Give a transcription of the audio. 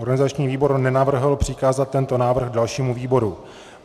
Organizační výbor nenavrhl přikázat tento návrh dalšímu výboru.